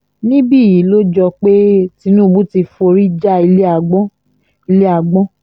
níbí yìí ló jọ pé tinubu ti forí já ilé agbọ̀n ilé agbọ̀n